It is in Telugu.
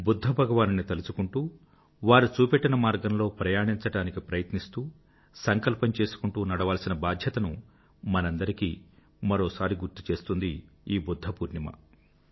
బుధ్ధ భగవానుడిని తలుచుకుంటూ వారు చూపెట్టిన మార్గంలో ప్రయాణించడానికి ప్రయత్నిస్తూ సంకల్పం చేసుకుంటూ నడవాల్సిన మనందరి బాధ్యతనూ మరొక్కసారి గుర్తుచేస్తుంది ఈ బుధ్ధపూర్ణిమ